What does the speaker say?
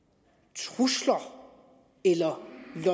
trusler eller